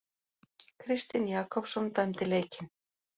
Kristinn Jakobsson dæmdi leikinn.